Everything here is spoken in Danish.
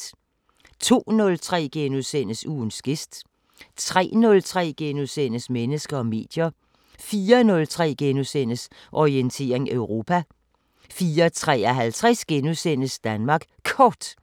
02:03: Ugens gæst * 03:03: Mennesker og medier * 04:03: Orientering Europa * 04:53: Danmark Kort *